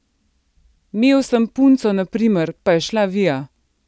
Mel sem punco naprimer, pa je šla via.